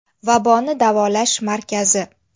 Vaboni davolash markazi.